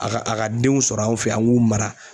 A ka a ka denw sɔrɔ anw fɛ yan an k'u mara.